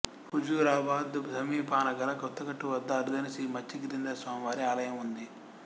హజూరాబాద్ సమీపానగల కొత్తగట్టు వద్ద అరుదైన శ్రీ మత్సగిరీంద్ర స్వామి వారి ఆలయం ఉంది